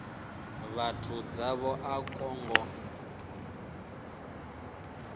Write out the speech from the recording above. vhathu zwavho a kwo ngo